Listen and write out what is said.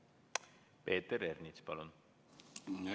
Peeter Ernits, palun!